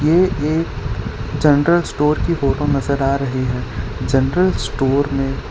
ये एक general store की फोटो नजर आ रही है जनरल स्टोर में--